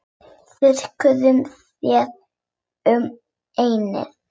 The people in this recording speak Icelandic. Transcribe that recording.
Þurrkar þér um ennið.